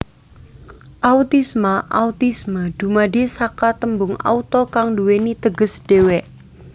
Autisma Autisme dumadi saka tembung auto kang duwèni teges dhéwé